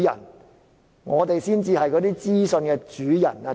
主席，我們才是那些資訊的主人。